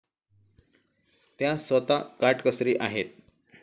त्या स्वतः काटकसरी आहेत.